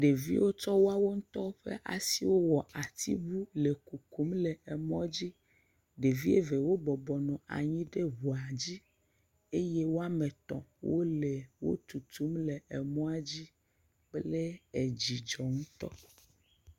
Ɖeviwo tsɔ woawo ŋutɔ ƒe asiwo wɔ asiŋu le kukum le emɔ dzi. Ɖevi eve wo bɔbɔnɔ anyi ɖe ŋua dzi. Eye woame tɔ̃ wo le wotutum le enɔa dzi kple edzidzɔ ŋutɔ.